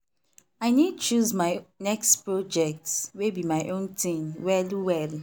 i need choose my next project wey be my own thing well well.